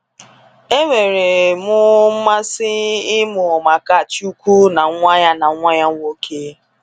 Enwere mụ mmasị ịmụ maka chukwu na nwa ya na nwa ya nwoke.